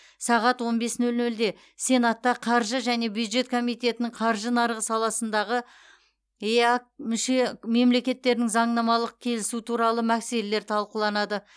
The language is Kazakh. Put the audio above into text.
сағат он бес нөл нөлде сенатта қаржы және бюджет комитетінің қаржы нарығы саласындағы еэк мүше мемлекеттерінің заңнамалық келісу туралы мәселелер талқыланады